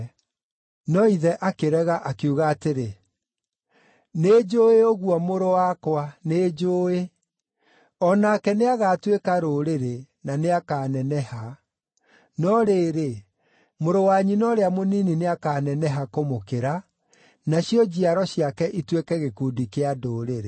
No ithe akĩrega, akiuga atĩrĩ, “Nĩnjũũĩ ũguo mũrũ wakwa, nĩnjũũĩ. O nake nĩagatuĩka rũrĩrĩ, na nĩakaneneha. No rĩrĩ, mũrũ wa nyina ũrĩa mũnini nĩakaneneha kũmũkĩra, nacio njiaro ciake ituĩke gĩkundi kĩa ndũrĩrĩ.”